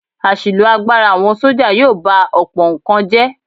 Àṣìlò agbára àwọn sọ́jà yóò ba ọ̀pọ̀ nǹkan jẹ́.